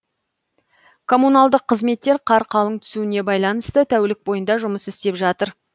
коммуналдық қызметтер қар қалың түсуіне байланысты тәулік бойында жұмыс істеп жатыр